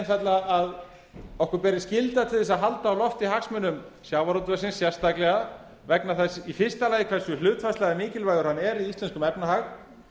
einfaldlega að okkur beri skylda til að halda á lofti hagsmunum sjávarútvegsins sérstaklega vegna þess í fyrsta lagi vegna þess hversu hlutfallslega mikilvægur hann er í íslenskum efnahag